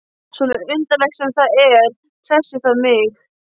Svo undarlegt sem það er hressir það mig.